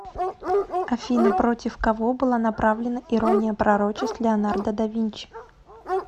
афина против кого была направлена ирония пророчеств леонардо да винчи